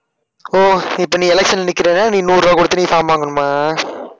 ஒஹ் இப்ப நீ election ல நிக்கிறன்னா நீ நூறு ரூபாய் கொடுத்து நீ form வாங்கணுமா?